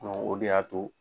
Ɔ o de y'a to.